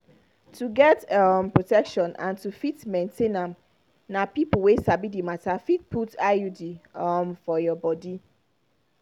to get steady um protection and to fit maintain am na people wey sabi the matter fit put iud um for your body.